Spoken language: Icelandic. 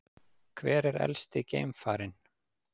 Hver er elsti geimfarinn?